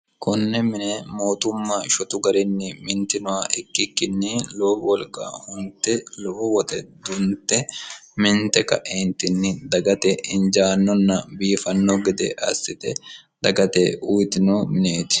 konne mine mootumma shotu garinni mintinoha ikkikkinni loowo wolqa hunte lowo woxe dunte minte ka'eentinni dagate injaannonna biifanno gede assite dagate uyitino mineeti